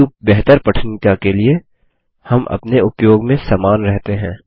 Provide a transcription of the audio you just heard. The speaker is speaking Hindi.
किन्तु बेहतर पठनीयता के लिए हम अपने उपयोग में समान रहते हैं